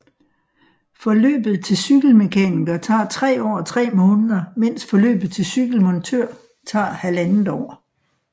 Forløbet til cykelmekaniker tager 3 år og 3 måneder mens forløbet til cykelmontør tager 1½ år